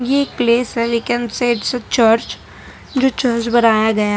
ये एक प्लेस है we can see it is a church जो चर्च बनाया गया है।